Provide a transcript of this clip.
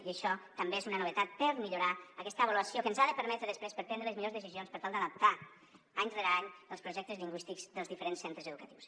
i això també és una novetat per millorar aquesta avaluació que ens ha de permetre després prendre les millors decisions per tal d’adaptar any rere any els projectes lingüístics dels diferents centres educatius